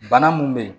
Bana mun be yen